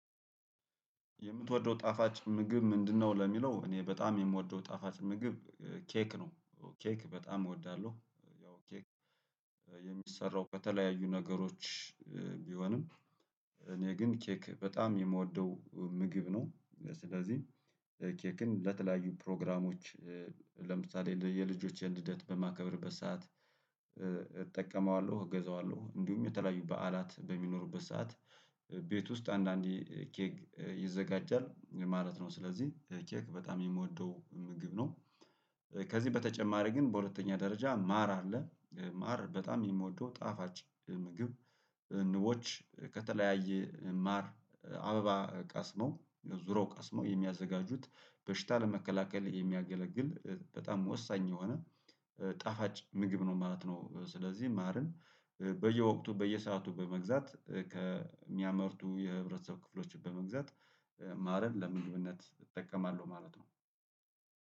የምትወደው ጣፋጭ ምግብ ምንድነው? ለሚለው እኔ በጣም የምወደው ጣፋጭ ምግብ ኬክ ነው። ኬክ በጣም እወዳለሁ። ያው ኬክ የሚሰራው በተለያዩ ነገሮች ቢሆንም እኔ ግን ኬክ በጣም የምወደው ምግብ ነው። ስለዚህ ኬክን ለተለያዩ ፕሮግራሞች ለምሳሌ የልጆችን ልደት በማከብርበት ሰዓት እጠቀመዋለሁ እገዛዋለሁ እንዲሁም የተለያዩ በዓላት በሚኖሩበት ሰዓት ቤት ውስጥ አንዳንዴ ኬክ ይዘጋጃል ማለት ነው። ስለዚህ ኬክ በጣም የምወደው ምግብ ነው። ከዚህ በተጨማሪ ግን በሁለተኛ ደረጃ ማር አለ። ማር በጣም የምወደው ጣፋጭ ምግብ ንቦች ከተለያየ ማር አበባ ቀስመው ዙሮ ቀስመው የሚያዘጋጁት በሽታ ለመከላከል የሚያገለግል በጣም ወሳኝ የሆነ ጣፋጭ ምግብ ነው ማለት ነው። ስለዚህ ማርን በየወቅቱ በየሰአቱ በመግዛት ከሚያመርቱ የህብረተሰብ ክፍሎች በመግዛት ማረን ለምግብነት እጠቀማለሁ ማለት ነው።